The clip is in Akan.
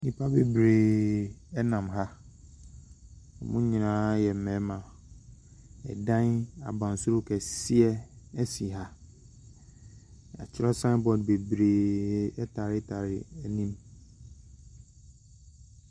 Nnipa bebreeeee nam ha. Wɔn nyinaa yɛ mmarima. Ɛdan abansoro kɛseɛsi ha. Wɔatwerɛ sign board bebreeeee taretare anim.